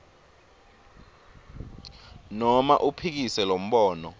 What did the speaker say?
noma uphikise lombono